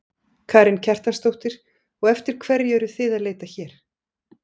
Karen Kjartansdóttir: Og eftir hverju eruð þið að leita hér?